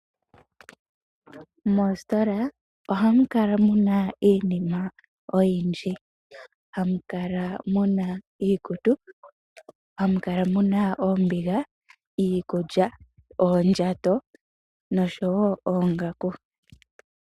Moositola ohamu kala muna iinima oyindji, hamu kala muna iikutu, hamu kala muna oombiga, iikulya, oondjato noshowo oongaku.